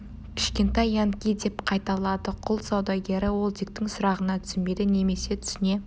кішкентай янки деп қайталады құл саудагері ол диктің сұрағына түсінбеді немесе түсіне